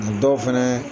A dɔw fɛnɛ